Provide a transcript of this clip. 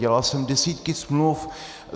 Dělal jsem desítky smluv.